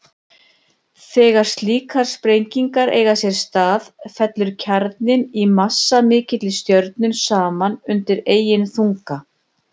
Þegar slíkar sprengingar eiga sér stað fellur kjarninn í massamikilli stjörnu saman undan eigin þunga.